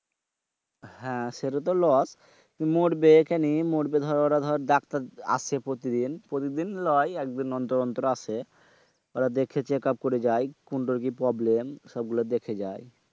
হ্যাঁ সেটা তো loss মরবে কেনে? মরবে দর ওরা দর ডাক্তার আসে প্রতিদিন। প্রতিদিন লয় একদিন অন্তর অন্তর আসে। ওরা দেখে check up করে যায়। কোনটার কি problem সবগুলো দেখে যায়।